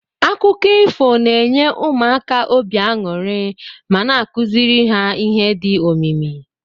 Akụkọ ifo na enye ụmụaka obi anyuri ma na akuziri ha ihe di omimi.